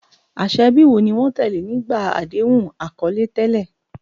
Àṣà ẹbí wo ni wọ́n tẹ̀lé nígbà àdéhùn àkọlé tẹ́lẹ̀?